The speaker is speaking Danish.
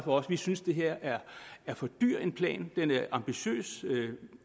os vi synes det her er for dyr en plan den er ambitiøs